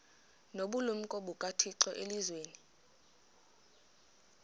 nobulumko bukathixo elizwini